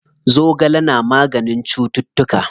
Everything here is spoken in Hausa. Zogale na maganin cuttutuka.